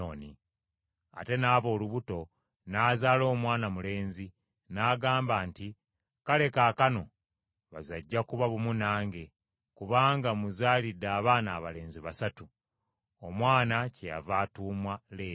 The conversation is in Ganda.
Ate n’aba olubuto n’azaala omwana mulenzi, n’agamba nti, “Kale kaakano baze ajja kuba bumu nange, kubanga mmuzaalidde abaana abalenzi basatu.” Omwana kyeyava atuumwa Leevi.